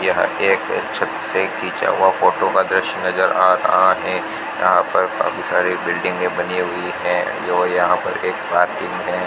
यह एक छत से खीचा हुआ फोटो का दृश्य नजर आ रहा है यहाँ पर काफी सारे बिल्डिंगे बनी हुई है और यहाँ पे एक मार्केट है।